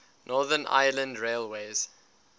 northern ireland railways